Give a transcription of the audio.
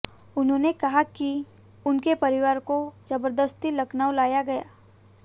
उन्होंने कहा कि उनके परिवार को जबरदस्ती लखनऊ लाया गया